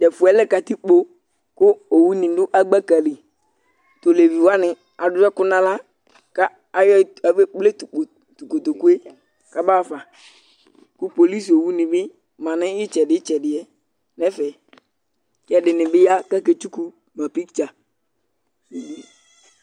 Tʋ ɛfʋ yɛ katikpo kʋ owunɩ dʋ agbaka li Tʋ olevi wanɩ adʋ ɛkʋ nʋ aɣla kʋ aya e afɔɣa ekple tʋ kpo tʋ kotoku yɛ kabaɣa fa kʋ polisiowunɩ bɩ ma nʋ ɩtsɛdɩ ɩtsɛdɩ yɛ nʋ ɛfɛ kʋ ɛdɩnɩ bɩ ya kʋ aketsuku ma piktsa